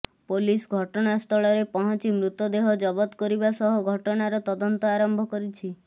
police ଘଟଣା ସ୍ଳରେ ପହଞ୍ଚି ମୃତଦେହ ଜବତ କରିବା ସହ ଘଟଣାର ତଦନ୍ତ ଆରମ୍ଭ କରିଛି